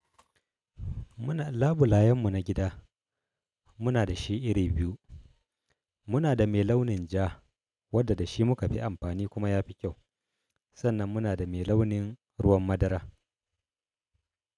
Muna, labulayen mu na gida muna da shi iri biyu. Muna da mai launin ja, wadda da shi muka fi amfani kuma ya fi kyau. Sannan muna da mai launin ruwan madara.